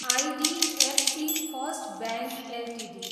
IDFC first bank Ltd